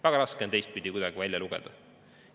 Väga raske on siit välja lugeda.